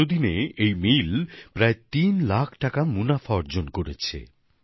এতোদিনে এই মিল প্রায় তিন লাখ টাকা মুনাফা অর্জন করেছে